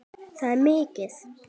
Það er mikið!